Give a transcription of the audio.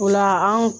O la an